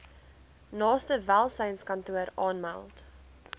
naaste welsynskantoor aanmeld